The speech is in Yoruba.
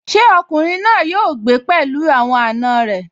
Ṣé ọkùnrin náà yóò gbé pẹ̀lú àwọn àna rẹ̀?